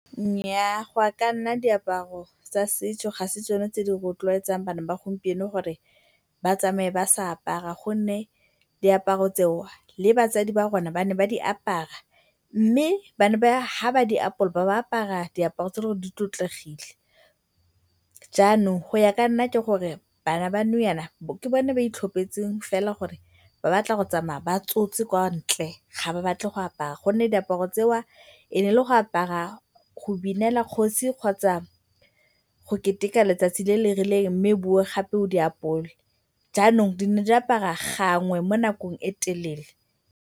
Nnyaa, go ya ka nna diaparo tsa setso ga se tsone tse di rotloetsang bana ba gompieno gore ba tsamaye ba sa apara gonne diaparo tseo le batsadi ba rona ba ne ba di apara mme ba ne ba, fa ba di apola ba bo ba apara diaparo tse eleng gore di tlotlegile. Jaanong go ya ka nna ke gore bana ba nou jaana ke bone ba itlhopetseng fela gore ba batla go tsamaya ba tsotse kwa ntle, ga ba batle go apara gonne diaparo tseo e ne e le go apara go binela kgosi kgotsa go keteka letsatsi le le rileng mme o boe gape o di apole. Jaanong di ne di aparwa gangwe mo nakong e telele.